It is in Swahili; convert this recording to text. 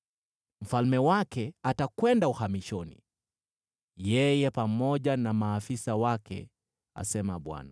Mfalme wake atakwenda uhamishoni, yeye pamoja na maafisa wake,” asema Bwana .